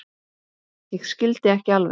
Ég skildi ekki alveg.